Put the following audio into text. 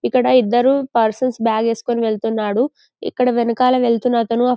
ఇక్కడ ఇద్దరు persons bag వేసుకుని వెళ్తున్నాడు ఇక్కడ వెనకాల వెళ్తున్న అతను ఆ --